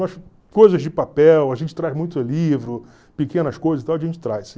Mas coisas de papel, a gente traz muito livro, pequenas coisas e tal, a gente traz.